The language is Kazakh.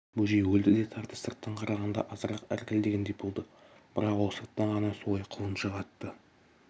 бөжей өлді де тартыс сырттан қарағанда азырақ іркілгендей болды бірақ ол сырттан ғана солай құлыншақ атты